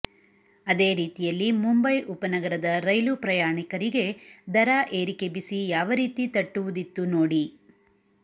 ಅದೇ ರೀತಿಯಲ್ಲಿ ಮುಂಬೈ ಉಪ ನಗರದ ರೈಲು ಪ್ರಯಾಣಕರಿಗೆ ದರ ಏರಿಕೆ ಬಿಸಿ ಯಾವ ರೀತಿ ತಟ್ಟುವುದಿತ್ತು ನೋಡಿ